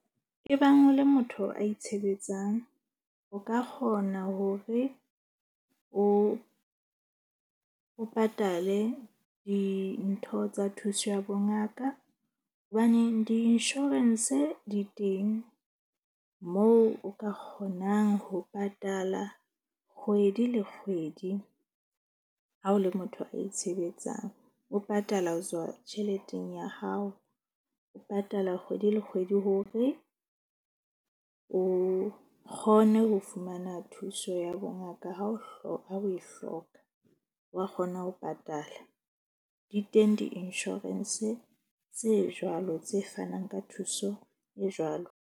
E bang o le motho a itshebetsang, o ka kgona hore o patale dintho tsa thuso ya bongaka. Hobaneng di-insurance di teng moo o ka kgonang ho patala kgwedi le kgwedi. Ha o le motho a itshebetsang, o patala ho tswa tjheleteng ya hao, o patala kgwedi le kgwedi hore o kgone ho fumana thuso ya bongaka ha o hloka, ha o e hloka. Wa kgona ho patala di teng di-insurance tse jwalo tse fanang ka thuso e jwalo.